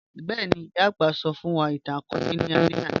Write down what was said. Bẹẹni, iyà agbà sọ fun wa itan-akọọlẹ ni alẹ ana.